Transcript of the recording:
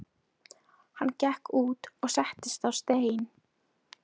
Hann gekk út og settist á stein.